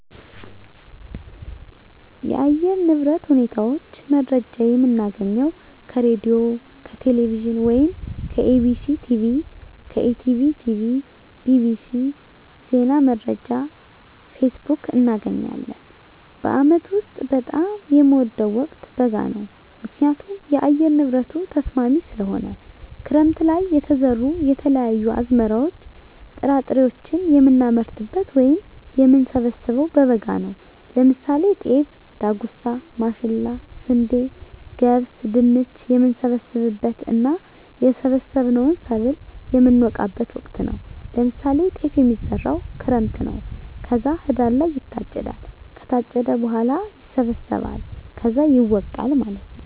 የአየር ንብረት ሁኔታ መረጃ የምናገኘው ከሬድዬ፣ ከቴሌቪዥን ወይም ከEBctv፣ ከETB tv፣ bbc፣ ዜና መረጃ፣ ፌስቡክ፣ እናገኛለን። በአመት ውስጥ በጣም የምወደው ወቅት በጋ ነው ምክንያቱም የአየር ንብረቱ ተስማሚ ስለሆነ፣ ክረምት ለይ የተዘሩ የተለያዩ አዝመራዎች ጥራጥሬዎችን የምናመርትበት ወይም የምንሰብበው በበጋ ነው ለምሳሌ ጤፍ፣ ዳጉሳ፣ ማሽላ፣ ስንዴ፣ ገብስ፣ ድንች፣ የምንሰበስብበት እና የሰበሰብነውን ሰብል የምነወቃበት ወቅት ነው ለምሳሌ ጤፍ የሚዘራው ክረምት ነው ከዛ ህዳር ላይ ይታጨዳል ከታጨደ በኋላ ይሰበሰባል ከዛ ይወቃል ማለት ነው።